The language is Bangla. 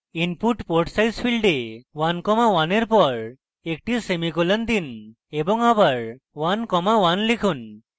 input port size ফীল্ডে 1 comma 1 in পর একটি সেমিকোলন দিন এবং আবার 1 comma 1 লিখুন